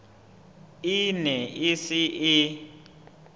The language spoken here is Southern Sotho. e ne e se e